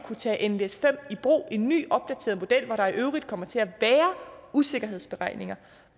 kunne tage nles5 i brug i en ny opdateret model hvor der i øvrigt kommer til at være usikkerhedsberegninger